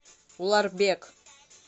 уларбек